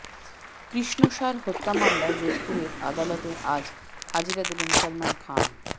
কৃষ্ণসার হত্যা মামলায় যোধপুরের আদালতে আজ হাজিরা দেবেন সলমন খান